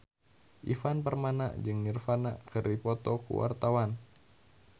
Ivan Permana jeung Nirvana keur dipoto ku wartawan